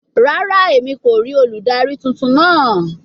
Rara, Emi ko rii oludari tuntun naa